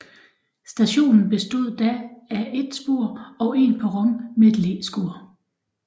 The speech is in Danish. Stationen bestod da af et spor og en perron med et læskur